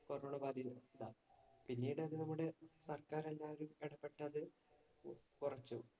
corona ബാധിതരുടെ അവസ്ഥ പിന്നീടു അത് നമ്മടെ സര്‍ക്കാര്‍ എന്തായാലും എടപെട്ടു അത് കുറച്ചു.